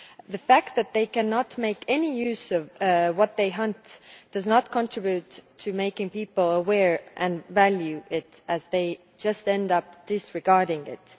The fact that they cannot make any use of what they hunt does not contribute to making people aware of it and value it, as they just end up disregarding it.